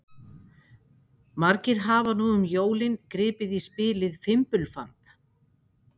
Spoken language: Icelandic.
Margir hafa nú um jólin gripið í spilið Fimbulfamb.